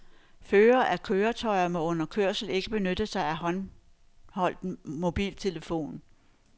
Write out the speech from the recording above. Førere af køretøjer må under kørsel ikke benytte sig af håndholdt mobiltelefon.